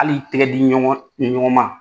ali tɛgɛdiɲɔgɔnma